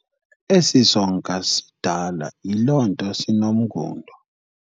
Esi sonka sidala yiloo nto sinomngundo.